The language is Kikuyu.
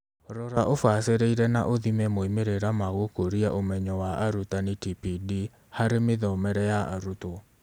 Rora, ũbacĩrĩĩre na uthime moimĩrĩra ma gũkũria ũmenyo wa arutani (TPD) harĩ mĩthomere ya arutwo.